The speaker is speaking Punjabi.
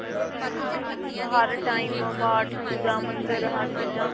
ਹਰ time ਪਾਠ ਪੂਜਾ ਮੰਦਿਰ ਹਰ ਚੀਜ਼ਾ